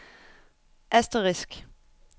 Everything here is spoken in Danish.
asterisk